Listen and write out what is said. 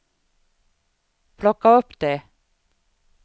plocka upp det